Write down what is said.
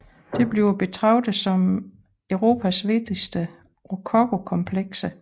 Det bliver betragtet som Europas vigtigste rokokokomplekse